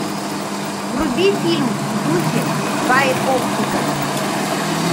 вруби фильм в духе байопика